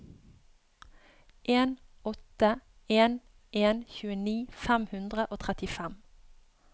en åtte en en tjueni fem hundre og trettifem